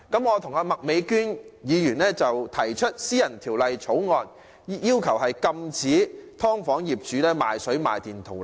我和麥美娟議員提出私人法案，要求禁止"劏房"業主賣水賣電圖利。